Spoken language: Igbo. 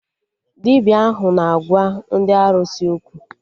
Dibịa ahụ na-agwa ndị arụsị okwu